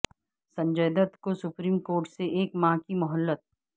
سنجے دت کو supreme court سے ایک ماہ کی مہلت